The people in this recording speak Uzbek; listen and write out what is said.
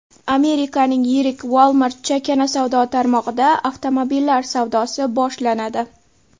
Amerikaning yirik Walmart chakana savdo tarmog‘ida avtomobillar savdosi boshlanadi.